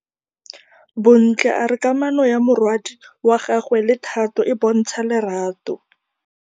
Bontle a re kamanô ya morwadi wa gagwe le Thato e bontsha lerato.